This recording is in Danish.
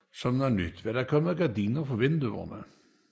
Som noget nyt var der gardiner for vinduerne